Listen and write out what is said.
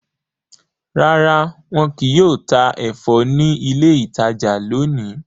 Rara, wọn kìí yóò ta ẹfọ ni ilé ìtajà lóni